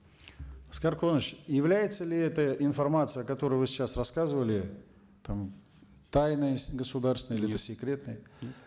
аскар куанышевич является ли эта информация которую вы сейчас рассказывали там тайной государственной или